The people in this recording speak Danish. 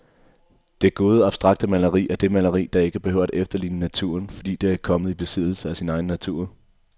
Det gode abstrakte maleri er det maleri, der ikke behøver at efterligne naturen, fordi det er kommet i besiddelse af sin egen natur.